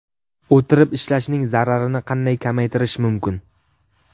O‘tirib ishlashning zararini qanday kamaytirish mumkin?.